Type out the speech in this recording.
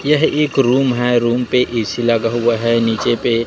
यह एक रूम है रूम पे ए_सी लगा हुआ है नीचे पे--